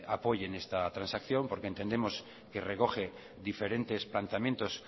apoyen esta transacción porque entendemos que recoge diferentes planteamientos